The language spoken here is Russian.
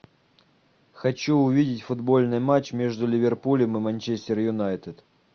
хочу увидеть футбольный матч между ливерпулем и манчестер юнайтед